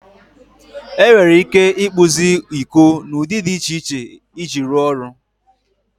Enwere ike ịkpụzi iko n'ụdị dị iche iche iji rụọ ọrụ.